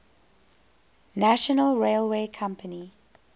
national railway company